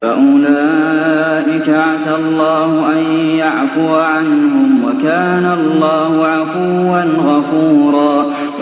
فَأُولَٰئِكَ عَسَى اللَّهُ أَن يَعْفُوَ عَنْهُمْ ۚ وَكَانَ اللَّهُ عَفُوًّا غَفُورًا